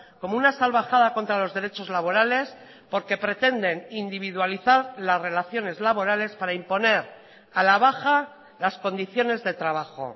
como una salvajada contra los derechos laborales porque pretenden individualizar las relaciones laborales para imponer a la baja las condiciones de trabajo